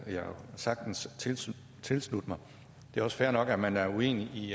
sagtens tilslutte tilslutte mig det er også fair nok at man er uenig i